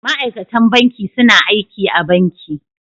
Ma'aikatan banki suna aiki a banki.